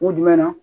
Kun jumɛn na